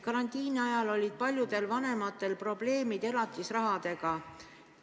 Karantiini ajal olid paljudel vanematel probleemid elatisrahaga.